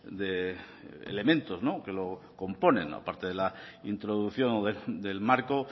de elementos que lo componen a parte de la introducción o del marco